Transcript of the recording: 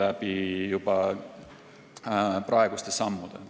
Eiki Nestor, palun!